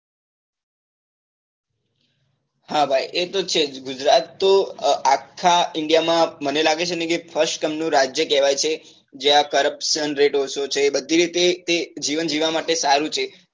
હા ભાઈ એ તો છે જ ગુજરાત તો અ આખા india માં મને લાગે છે ને કે first ક્રમ નું રાજ્ય કેવાય છે જ્યાં corruption rate ઓછો છે બધી રીતે તે તે જીવન જીવવા માટે સારું છે